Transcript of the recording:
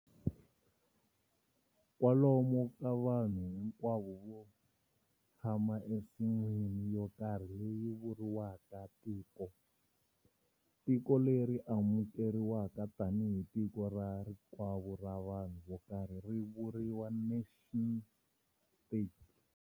Kwalomu ka vanhu hinkwavo va tshama ensin'wini yo karhi leyi vuriwaka tiko. Tiko leri amukeriwaka tani hi tiko ra rikwavo ra vanhu vo karhi ri vuriwa"nation-state".